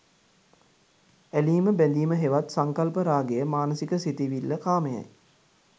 ඇලීම බැඳීම හෙවත් සංකල්ප රාගය, මානසික සිතිවිල්ල කාමයයි.